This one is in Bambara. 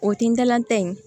O tintan ta in